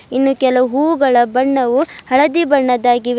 ಇನ್ನು ಕೆಲ ಹೂಗಳ ಬಣ್ಣವು ಹಳದಿ ಬಣ್ಣದಾಗಿವೆ.